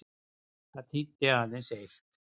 Það þýddi aðeins eitt.